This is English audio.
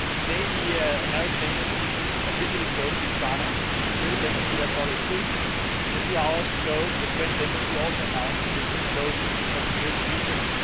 Today the American Embassy officially closed in Sana'a. The British Embassy has followed suit and a few hours ago the French Embassy also announced that it would close for security reasons.